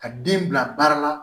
Ka den bila baara la